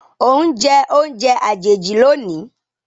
o njẹ oúnjẹ àjèjì lónì.